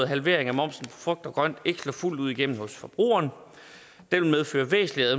halvering af momsen på frugt og grønt ikke slå fuldt ud igennem hos forbrugeren den vil medføre væsentlige